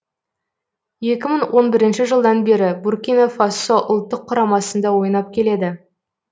екі мың он бірінші жылдан бері буркина фасо ұлттық құрамасында ойнап келеді